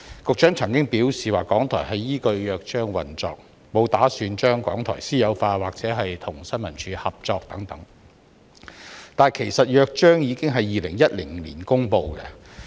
局長曾表示港台依據《約章》運作，沒有打算把港台私有化或讓其與政府新聞處合作，但《約章》其實早在2010年已經公布。